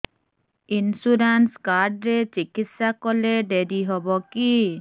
insurance card ରେ ଚିକିତ୍ସା କଲେ ଡେରି ହବକି